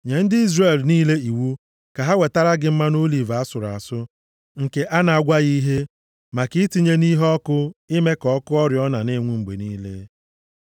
“Nye ndị Izrel niile iwu ka ha wetara gị mmanụ oliv asụrụ asụ, nke a na-agwaghị ihe, maka itinye nʼiheọkụ ime ka ọkụ oriọna na-enwu mgbe niile.